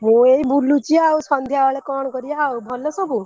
ମୁ ଏଇ ବୁଲୁଛି ଆଉ ସନ୍ଧ୍ୟାବେଳେ କଣ କରିଆ ଆଉ ଭଲ ସବୁ?